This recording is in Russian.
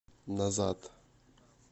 назад